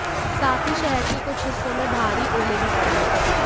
साथ ही शहर के कुछ हिस्सों में भारी ओले भी पड़े